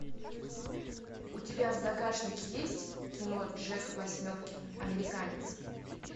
у тебя в загашнике есть кино джек восьмеркин американец